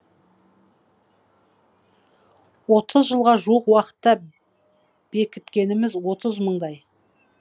отыз жылға жуық уақытта бекіткеніміз отыз мыңдай